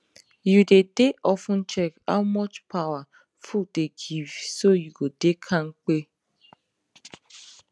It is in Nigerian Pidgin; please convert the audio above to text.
you dey dey of ten check how much power food dey give so you go dey kampe